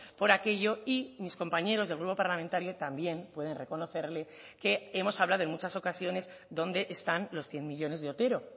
por aquello y mis compañeros del grupo parlamentario también pueden reconocerle que hemos hablado en muchas ocasiones dónde están los cien millónes de otero